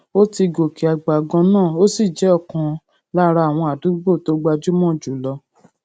ó ti gòkè àgbà ganan ó sì jé òkan lára àwọn àdúgbò tó gbajúmò jù lọ